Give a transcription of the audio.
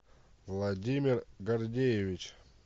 владимир гордеевич